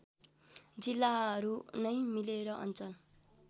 जिल्लाहरूनै मिलेर अञ्चल